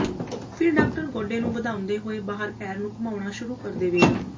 ਫਿਰ ਡਾਕਟਰ ਗੋਡੇ ਨੂੰ ਵਧਾਉਂਦੇ ਹੋਏ ਬਾਹਰ ਪੈਰ ਨੂੰ ਘੁੰਮਾਉਣਾ ਸ਼ੁਰੂ ਕਰ ਦੇਵੇਗਾ